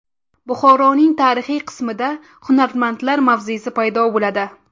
Buxoroning tarixiy qismida hunarmandlar mavzesi paydo bo‘ladi.